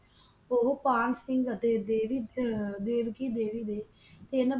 ਉਹ ਪਾਨ ਸਿੰਘ ਅਤੇ ਦੇਵੀ ਆਹ ਦੇਵਕੀ ਦੇਵੀ ਦੇ ਤਿੰਨ